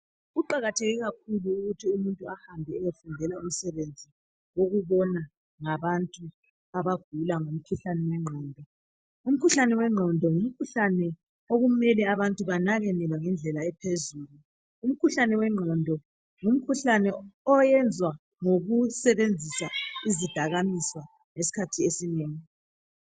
Kuqakathekile kakhulu ukuthi umuntu ehambe eyefundela umsebenzi wokubona ngabantu abagula ngomkhuhlane wengqondo. Umkhuhlane wengqondo ngumkhuhlane okumele abantu banakekelwe ngendlela ephezulu. Umkhuhlane wengqondo ngumkhuhlane oyenzwa ngokusebenzisa izidakamizwa esikhathini esinengi.